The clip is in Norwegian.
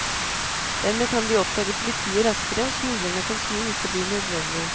Dermed kan de oppdage politiet raskere, og smuglerne kan snu hvis det blir nødvendig.